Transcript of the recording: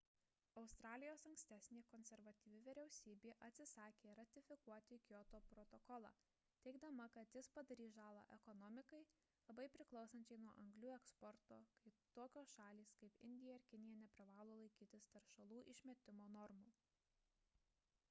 australijos ankstesnė konservatyvi vyriausybė atsisakė ratifikuoti kioto protokolą teigdama kad jis padarys žalą ekonomikai labai priklausančiai nuo anglių eksporto kai tokios šalys kaip indija ir kinija neprivalo laikytis teršalų išmetimo normų